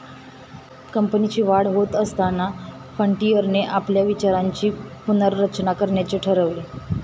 कंपनीची वाढ होत असताना फ्रंटियरने आपल्या विचारांची पुनर्रचना करण्याचे ठरवले.